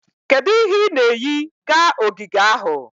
Kedu ihe ị na-eyi ga ogige ahụ?